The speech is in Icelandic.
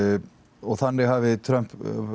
og þannig hafi Trump